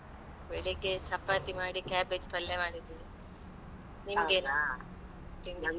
ಬೆಳಿಗ್ಗೆ ಚಪಾತಿ ಮಾಡಿ cabbage ಪಲ್ಯ ಮಾಡಿದ್ದೀನಿ. ನಿಮ್ಗೇನು ತಿಂಡಿ?